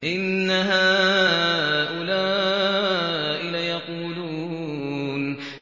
إِنَّ هَٰؤُلَاءِ لَيَقُولُونَ